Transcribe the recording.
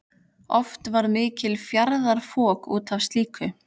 Oft varð mikið fjaðrafok út af slíku.